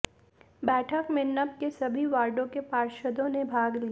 बैठक में नप के सभी वार्डों के पार्षदों ने भाग लिया